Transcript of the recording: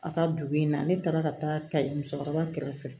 A ka dugu in na ne taara ka taa kayi musokɔrɔba kɛrɛfɛ